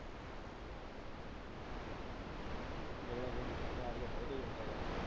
ਉਂਜ charge ਬਹੁਤ ਤੇਜ ਹੁੰਦੇ ਇਹ।